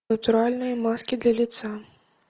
натуральные маски для лица